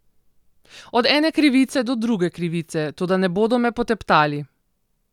Od ene krivice do druge krivice, toda ne bodo me poteptali.